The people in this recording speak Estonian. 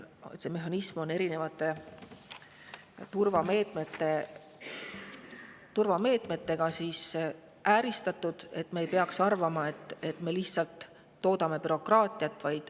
See mehhanism on ääristatud erinevate turvameetmetega, nii et me ei peaks arvama, et me toodame sellega bürokraatiat.